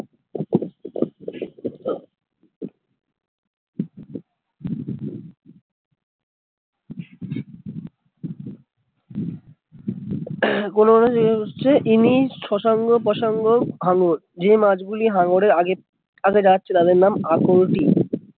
any শশাঙ্ক প্রসঙ্গ হাঙর যে মাছ গুলি হাঙ্গর আর আগে যাচ্ছে তাদের নাম অক্রুটি